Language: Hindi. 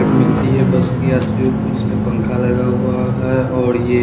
मिलती है बस के यात्रियों को जिसमे पंखा लगा हुआ है और ये ----